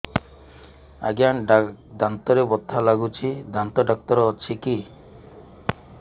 ଆଜ୍ଞା ଦାନ୍ତରେ ବଥା ଲାଗୁଚି ଦାନ୍ତ ଡାକ୍ତର ଅଛି କି